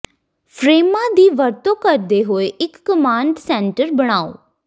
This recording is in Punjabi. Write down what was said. ਫਰੇਮਾਂ ਦੀ ਵਰਤੋਂ ਕਰਦੇ ਹੋਏ ਇੱਕ ਕਮਾਡ ਸੈਂਟਰ ਬਣਾਉ